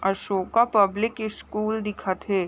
Ashoka public school दिखत हे।